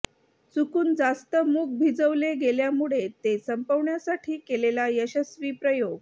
चूकुन जास्त मुग भिजवले गेल्यामुळे ते संपवण्यासाठी केलेला यशस्वी प्रयोग